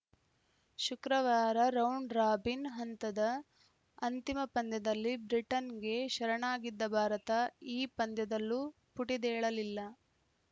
ಶುಕ್ರವಾರ round robin ಹಂತದ ಅಂತಿಮ ಪಂದ್ಯದಲ್ಲಿ ಬ್ರಿಟನ್‌ಗೆ ಶರಣಾಗಿದ್ದ ಭಾರತ ಈ ಪಂದ್ಯದಲ್ಲೂ ಪುಟಿದೇಳಲಿಲ್ಲ